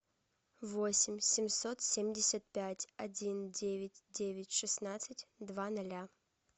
восемь семьсот семьдесят пять один девять девять шестнадцать два ноля